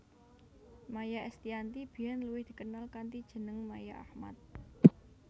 Maia Estiyanti biyén luwih dikenal kanthi jeneng Maia Ahmad